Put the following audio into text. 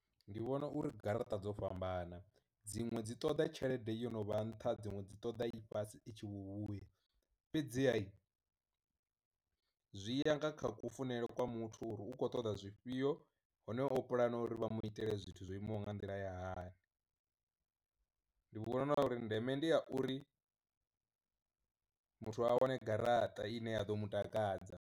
Ndi vhona uri garaṱa dzo fhambana dziṅwe dzi ṱoḓa tshelede yo no vha nṱha dziṅwe dzi ṱoḓa i fhasi itshi vhu vhuya fhedzihai, zwi ya nga kha ku funele kwa muthu uri u kho ṱoḓa zwifhio hone o puḽana uri vha mu itela zwithu zwo imaho nga nḓila ya hani. Ndi vhona uri ndeme ndi ya uri muthu a wane garaṱa ine ya ḓo mu takadza.